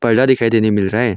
दिखाई देने मिल रहे हैं।